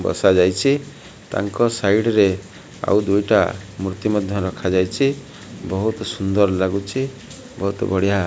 ବସାଯାଇଛି ତାଙ୍କ ସାଇଡ୍ ରେ ଆଉ ଦୁଇଟା ମୂର୍ତ୍ତି ମଧ୍ୟ ରଖାଯାଇଛି। ବୋହୁତ ସୁନ୍ଦର ଲାଗୁଚି ବୋହୁତ ବଢି଼ଆ --